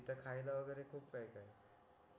तिथे खायला वगैरे खूप काय काय